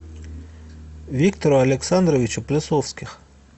виктору александровичу плесовских